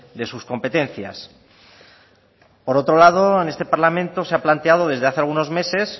de sus competencias por otro lado en este parlamento se ha planteado desde hace algunos meses